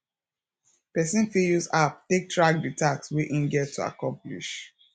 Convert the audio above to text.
person fit use app take track di task wey im get to accomplish